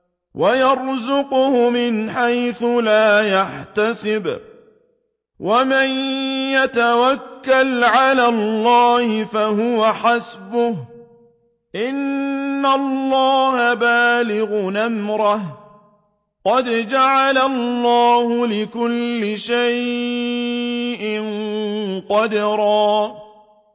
وَيَرْزُقْهُ مِنْ حَيْثُ لَا يَحْتَسِبُ ۚ وَمَن يَتَوَكَّلْ عَلَى اللَّهِ فَهُوَ حَسْبُهُ ۚ إِنَّ اللَّهَ بَالِغُ أَمْرِهِ ۚ قَدْ جَعَلَ اللَّهُ لِكُلِّ شَيْءٍ قَدْرًا